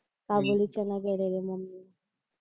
काबोली चणा केलेला मम्मीने